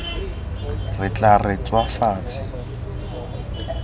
re tla re tswa fatshe